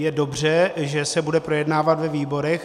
Je dobře, že se bude projednávat ve výborech.